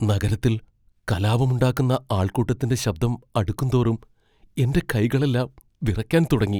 നഗരത്തിൽ കലാപമുണ്ടാക്കുന്ന ആൾകൂട്ടത്തിന്റെ ശബ്ദം അടുക്കുംതോറും എന്റെ കൈകളെല്ലാം വിറയ്ക്കാൻ തുടങ്ങി.